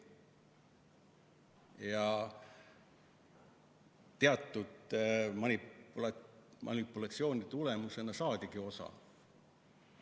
Ja teatud manipulatsioonide tulemusena saadigi osalt inimestelt.